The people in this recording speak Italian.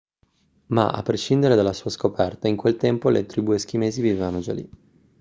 ma a prescindere dalla sua scoperta in quel tempo le tribù eschimesi vivevano già lì